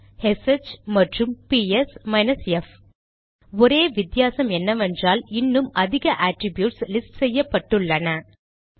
bash S H மற்றும் B S minus F ஒரே வித்தியாசம் என்னவென்றால் இன்னும் அதிக அட்ரிப்யூட்ஸ் லிஸ்ட் செய்யப்பட்டுள்ளன